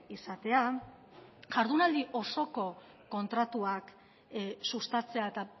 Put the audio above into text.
izatea jardunaldi osoko kontratuak sustatzea eta